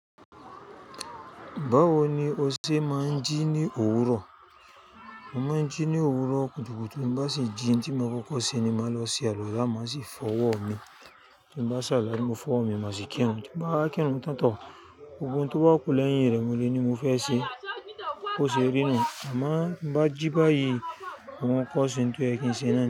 Báwo ni o ṣe máa ń jí ní òwúrọ̀? Mo máa ń jí ní òwúrọ̀ kùtùkùtù tí n bá sì jí ntí mo kọ́kọ́ ṣe ni màá lọ sí àluwala má sì fọ ọwọ́ mi tí n bá saluwala tí mo fọ ọwọ́ mi màá sì kírun tí n bá wa kírun tán toh gbogbo ohun tó bá kú lẹ́yìn rẹ̀ mo lè ní mo fẹ́ ṣe bo ṣe rí nù má bá jí báyìí mo kọ ṣe oun to yẹ kí n ṣe náà ni.